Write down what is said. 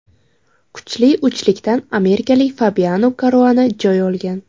Kuchli uchlikdan amerikalik Fabiano Karuana joy olgan.